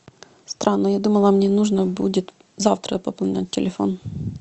странно я думала мне нужно будет завтра пополнять телефон